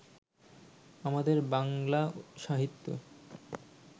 আমাদের বাঙলা-সাহিত্য